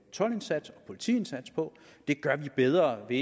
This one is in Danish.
toldindsats og politiindsats på det gør man bedre ved